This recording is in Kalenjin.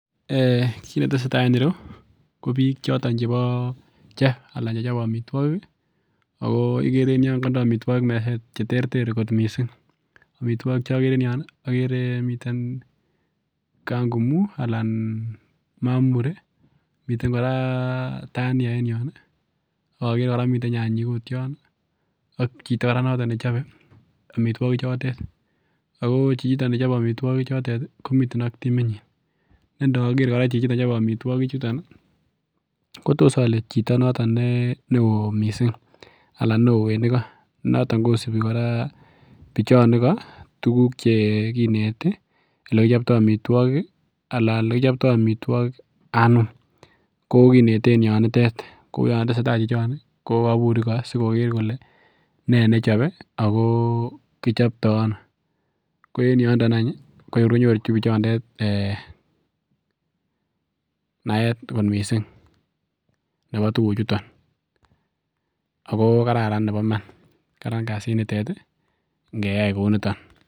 um Kit netesetai en ireu ko biik choton chebo chef anan chechobe amitwogik ih ako ikere en yon konde amitwogik meset cheterter missing, amitwogik chokere en yon ih komiten kangumu anan mamuri miten kora tania en yon ih ak okere miten kora nyanyik yon ak chito kora nechobe amitwogik chotet ako chito nechobe amitwogik chotet komiten ak timit nyin ne ndoker kora chichi chobe amitwogik chuton ih ko tos ole chito noton neoo missing anan neoo en igo noton kosibi kora bichon igo tuguk chekineti elekichoptoo amitwogik ih ana elekichoptoo amitwogik anum ko kineten yonitet kou yon tesetai chichon ih ko kobur igo sikoker kole nee nechobe ako kichoptoo ano ko en yondo any ih ko kor konyoru bichondet um naet kot missing nebo tuguk chuton ako kararan nebo iman karan kasit nitet ih ngeyai kouniton.